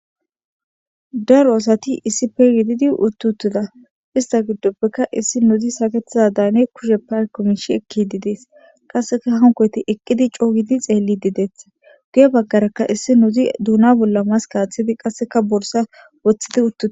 Daro asati issi peyididi uttutida ista giddoppeka issi nuzi saketiza daane kushe pakomishi ekki didees qasseka hankoti eqqidi coogidi xeelli dideetha guye baggarakka issi nuzi duuna bolla maska aththidi qasseka borsa woththidi utuda.